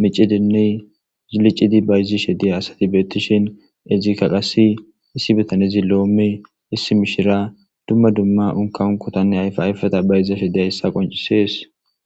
micidinne licidi bayzishe diza asati beetishin izika qase issi bitanezi lome mishiriya qase unka unkotanne ayfa ayfeta bayzashe dizaysa qoncisses